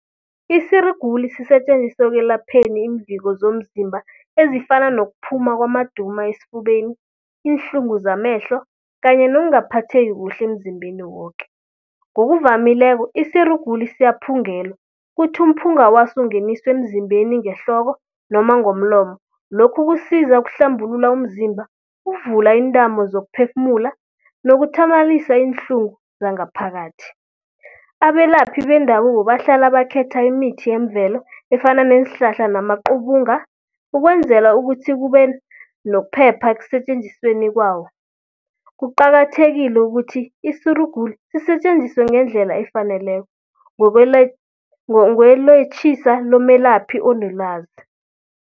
Isirugulu sisetjenziswa ekwelapheni iimviko zomzimba ezifana nokuphuma kwamaduma esfubeni, iinhlungu zamehlo kanye nokungaphatheki kuhle emzimbeni woke. Ngokuvamileko isirugulu siyaphungelwa, kuthi umphunga waso ungeniswe emzimbeni ngehloko noma ngomlomo. Lokhu kusiza ukuhlambulula umzimba, ukuvula iintamo zokuphefumula nokuthamalalisa iinhlungu zangaphakathi. Abelaphi bendabuko bahlala bakhetha imithi yemvelo efana neenhlahla namaqubunga, ukwenzela ukuthi kube nokuphepha ekusetjenzisweni kwawo. Kuqakathekile ukuthi isirugulu sisetjenziswe ngendlela efaneleko ngokweletjhisa lomelaphi onelwazi.